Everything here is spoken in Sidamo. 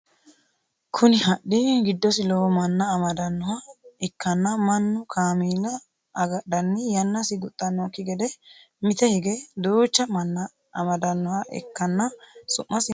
Kunni hadhi gidosi lowo manna amadanoha ikanna mannu kaameella agadhanni yannasi guxanoki gede mite hige duucha manna amadanoha ikanna su'masi maati yinnanni?